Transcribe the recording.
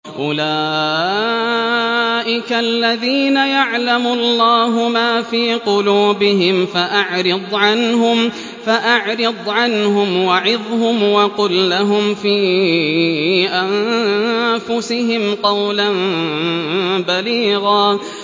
أُولَٰئِكَ الَّذِينَ يَعْلَمُ اللَّهُ مَا فِي قُلُوبِهِمْ فَأَعْرِضْ عَنْهُمْ وَعِظْهُمْ وَقُل لَّهُمْ فِي أَنفُسِهِمْ قَوْلًا بَلِيغًا